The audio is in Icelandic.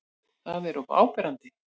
Það er of áberandi.